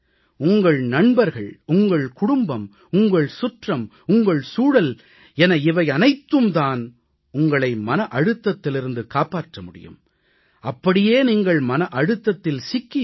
உங்கள் நண்பர்கள் உங்கள் குடும்பம் உங்கள் சுற்றம் உங்கள் சூழல் என இவையனைத்தும் தான் உங்களை மன அழுத்தத்திலிருந்து காப்பாற்ற முடியும் அப்படியே நீங்கள் மன அழுத்தத்தில் சிக்கி இருந்தாலும் உங்களை வெளிக் கொணர முடியும்